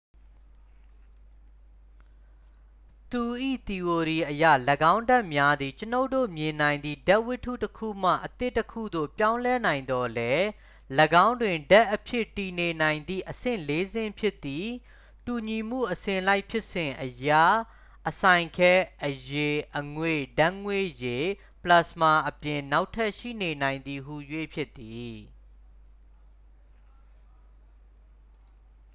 သူ၏ သီအိုရီအရ ၎င်းဒြပ်များသည် ကျွန်ုပ်တို့မြင်နိုင်သည့် ဒြပ်ဝတ္တုတစ်ခုမှ အသစ်တစ်ခုသို့ ပြောင်းလဲနိုင်သော်လည်း၊ ၎င်းတွင် ဒြပ်အဖြစ်တည်နေနိုင်သည့် အဆင့် ၄ ဆင့်ဖြစ်သည့် တူညီမှုအစဉ်လိုက်ဖြစ်စဉ်အရ ၊ အစိုင်ခဲ၊ အရည်၊ အငွေ့ ၊ ဓာတ်ငွေ့ရည် ပလက်စမာ အပြင် နောက်ထပ်ရှိနေနိုင်သည်ဟူ၍ ဖြစ်သည်။